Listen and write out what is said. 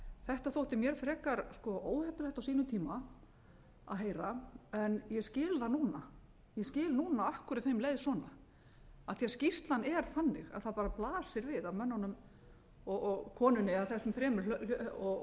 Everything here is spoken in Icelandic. þetta þótti mér frekar óhuggulegt á sínum tíma að heyra en ég skil það núna ég skil núna af hverju þeim leið svona af því að skýrslan er þannig að það bara blasir við að mönnunum og konunni eða þessum þremur og